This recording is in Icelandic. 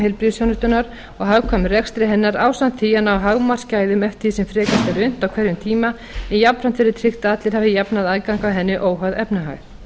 heilbrigðisþjónustunnar og hagkvæmum rekstri hennar ásamt því að ná hámarksgæðum eftir því sem frekast er unnt á hverjum tíma en jafnframt verði tryggt að allir hafi jafnan aðgang að henni óháð efnahag